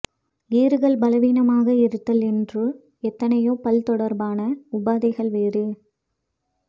ஈறுகள் பலவீனமாக இருத்தல் என்று எத்தனையோ பல் தொடர்பான உபாதைகள் வேறு